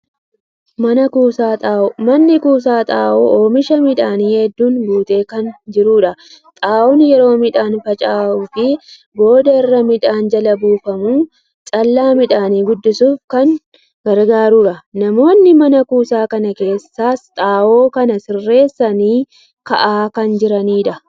Man-kuusaa xaa'oo. manni kuusaa kun xaa'oo oomisha midhaanii hedduun guutee kan jirudha. Xaa'oon yeroo midhaan faca'uu fi booda irra midhaan jala buufamuun callaa midhaanii guddisuuf kan gargaarudha. Namoonni mana kuusaa kana keessaas xaa'oo kana sirreessanii kaa'aa kan jiranidha.